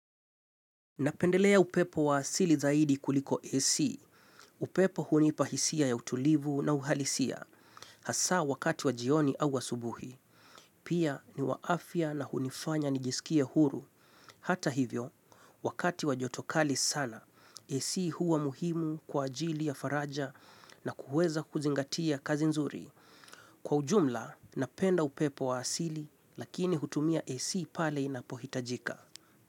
Napendelea upepo wa asili zaidi kuliko AC, upepo hunipa hisia ya utulivu na uhalisia, hasa wakati wa jioni au asubuhi. Pia ni wa afia na hunifanya nijisikie huru, hata hivyo, wakati wa jotokali sana, AC huwa muhimu kwa ajili ya faraja na kuweza kuzingatia kazi nzuri. Kwa ujumla, napenda upepo wa asili, lakini hutumia AC pale inapohitajika.